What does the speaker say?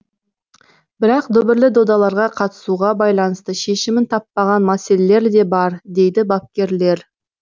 бірақ дүбірлі додаларға қатысуға байланысты шешімін тапаған мәселелер де бар дейді бапкерлер